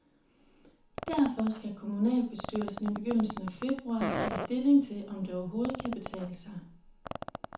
Derfor skal kommunalbestyrelsen i begyndelsen af februar tage stilling til, om det overhovedet kan betale sig.